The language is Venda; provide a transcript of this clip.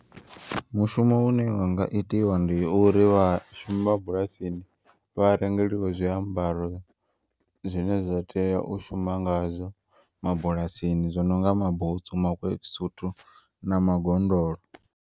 Mushumo une wanga itiwa ndi uri vha shumi vhabulasini vha rengeliwe zwiambaro zwine zwa tea u shuma ngazwo mabulasini zwono nga mabutsu mawekisuthu na magondolo.